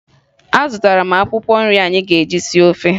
Azụtara m akwụkwọ nri anyị ga-eji sie ofe